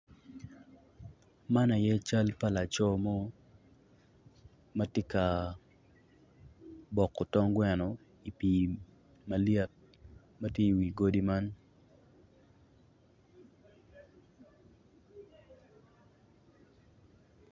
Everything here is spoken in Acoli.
Man aye cal pa loco mo ma tye ka boko tong gweno i pii malyet i wi godi man.